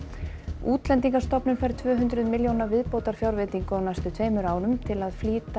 Útlendingastofnun fær tvö hundruð milljóna viðbótarfjárveitingu á næstu tveimur árum til að flýta